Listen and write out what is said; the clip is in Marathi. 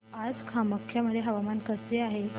आज कामाख्या मध्ये हवामान कसे आहे